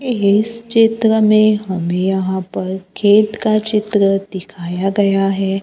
इस चित्र में हमे यहां पर खेत का चित्र दिखाया गया है।